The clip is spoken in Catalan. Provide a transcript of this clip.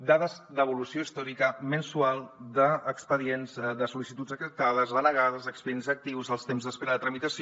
dades d’evolució històrica mensual d’expedients de sol·licituds acceptades denegades expedients actius els temps d’espera de tramitació